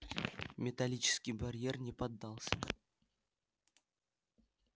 металлический барьер не поддался